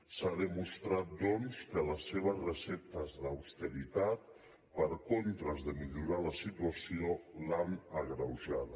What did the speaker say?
s’ha demostrat doncs que les seves receptes d’austeritat en contra de millorar la situació l’han agreujada